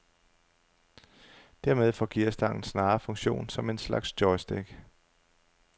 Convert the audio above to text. Dermed får gearstangen snarere funktion som en slags joystick.